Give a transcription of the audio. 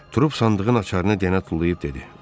Tor sandığının açarını deyənə tullayıb dedi: